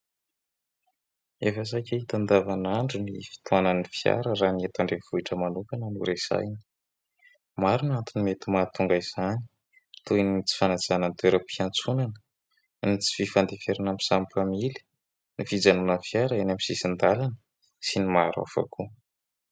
Efa saika hita andavanandro ny fitohanan'ny fiara raha ny eto an-drenivohitra manokana no resahina. Maro no antony mety mahatonga izany, toy ny tsy fanajana ny toeram-piantsonana, ny tsy fifandeferana amin'ny samy mpamily, ny fijanonan'ny fiara eny amin'ny sisin-dalana sy ny maro hafa koa.